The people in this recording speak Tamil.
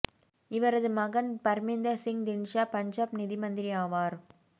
இவரது மகன் பர்மீந்தர் சிங் திந்த்சா பஞ்சாப் நிதி மந்திரி ஆவார்